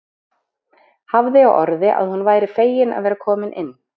Hafði á orði að hún væri fegin að vera komin inn.